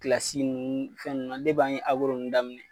Kilasi ninnu fɛn na an ye fɛn ninnu daminɛ